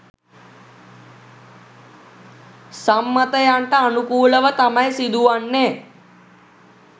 සම්මතයන්ට අනුකූලව තමයි සිදුවන්නේ.